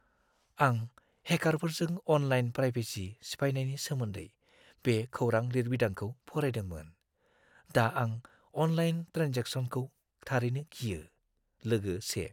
आं हेकारफोरजों online privacy सिफायनायनि सोमोन्दै बे खौरां-लिरबिदांखौ फरायदोंमोन; दा आं अनलाइन ट्रेन्जेकसनखौ थारैनो गियो! (लोगो 1)